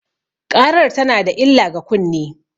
ƙarar tana da illah ga kunne.